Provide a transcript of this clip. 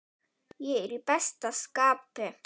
Ég er í besta skapi.